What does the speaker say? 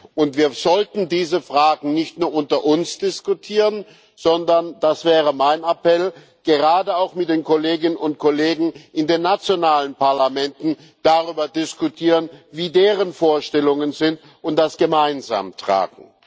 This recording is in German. Und wir sollten diese Fragen nicht nur unter uns diskutieren, sondern das wäre mein Appell gerade auch mit den Kolleginnen und Kollegen in den nationalen Parlamenten darüber diskutieren, wie deren Vorstellungen sind, und das gemeinsam tragen.